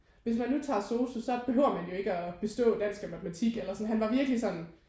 Hvis man nu tager sosu så behøver man jo ikke at bestå dansk og matematik eller sådan han var virkelig sådan